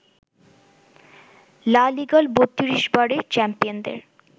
লা লিগার ৩২ বারের চ্যাম্পিয়নদের